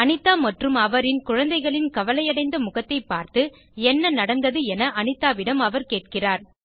அனிதா மற்றும் அவரின் குழந்தைகளின் கவலையடைந்த முகத்தைப் பார்த்து என்ன நடந்தது என அனிதாவிடம் அவர் கேட்கிறார்